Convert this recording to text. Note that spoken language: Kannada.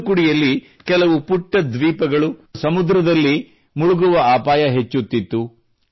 ತೂತುಕುಡಿಯಲ್ಲಿ ಕೆಲವು ಪುಟ್ಟ ದ್ವೀಪಗಳು ಸಮುದ್ರದಲ್ಲಿ ಮುಳುಗುವ ಅಪಾಯ ಹೆಚ್ಚುತ್ತಿತ್ತು